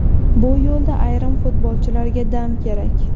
Bu yo‘lda ayrim futbolchilarga dam kerak.